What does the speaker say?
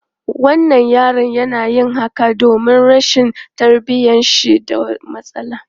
Wannan yaron yana yin haka domin rashin tarbiyyar shi da matsala.